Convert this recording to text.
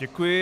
Děkuji.